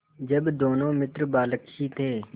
जब दोनों मित्र बालक ही थे